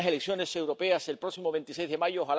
Hay unas elecciones europeas el próximo 26 de mayo.